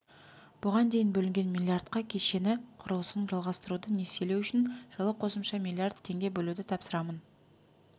бұған дейін бөлінген миллиардқа кешені құрылысын жалғастыруды несиелеу үшін жылы қосымша миллиард теңге бөлуді тапсырамын